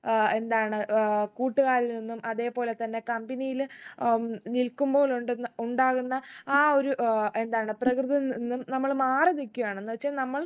ഏർ എന്താണ് ഏർ കൂട്ടുകാരിൽ നിന്നും അതെ പോലെ തന്നെ company ലെ ഉം നിൽക്കുമ്പോൾ ഉണ്ടെന്ന് ഉണ്ടാകുന്ന ആ ഒരു ഏർ എന്താണ് പ്രകൃതം നിന്നും നമ്മള് മാറി നിക്കയാണ് എന്ന് വെച്ചാ നമ്മൾ